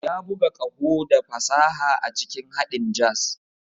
Ya buga ƙaho da fasaha a cikin haɗin jazz.